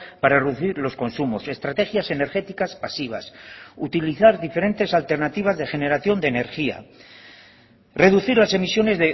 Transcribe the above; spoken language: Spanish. para reducir los consumos estrategias energéticas pasivas utilizar diferentes alternativas de generación de energía reducir las emisiones